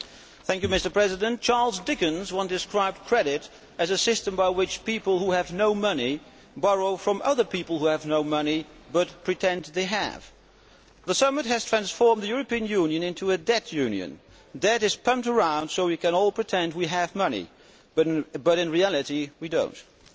Mr President, Charles Dickens once described credit as a system by which people who have no money borrow from other people who have no money but pretend they have. The Summit has transformed the European Union into a debt union where debt is pumped around so we can all pretend we have money but in reality we do not.